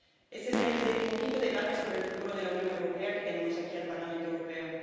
Este es el decimoquinto debate sobre el futuro de la Unión Europea que celebramos aquí, en el Parlamento Europeo.